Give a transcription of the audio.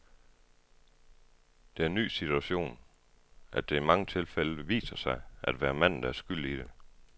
Det er en ny situation, at det i mange tilfælde viser sig at være manden, der er skyld i det.